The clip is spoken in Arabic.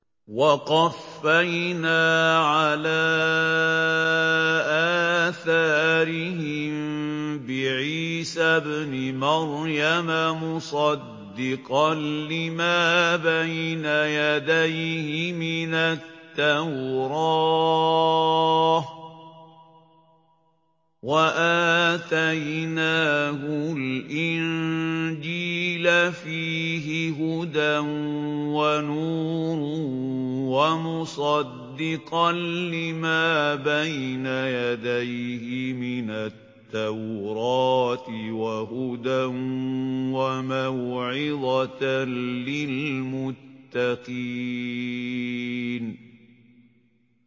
وَقَفَّيْنَا عَلَىٰ آثَارِهِم بِعِيسَى ابْنِ مَرْيَمَ مُصَدِّقًا لِّمَا بَيْنَ يَدَيْهِ مِنَ التَّوْرَاةِ ۖ وَآتَيْنَاهُ الْإِنجِيلَ فِيهِ هُدًى وَنُورٌ وَمُصَدِّقًا لِّمَا بَيْنَ يَدَيْهِ مِنَ التَّوْرَاةِ وَهُدًى وَمَوْعِظَةً لِّلْمُتَّقِينَ